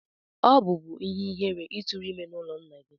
Ọ bubu ihe-ihere I turu ime n'ulo nna gi.